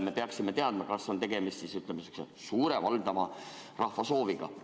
Me peaksime teadma, kas on tegemist suure, valdava osa rahva sooviga.